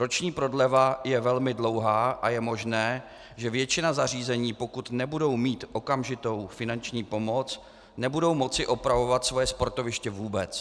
Roční prodleva je velmi dlouhá a je možné, že většina zařízení, pokud nebudou mít okamžitou finanční pomoc, nebude moci opravovat svoje sportoviště vůbec.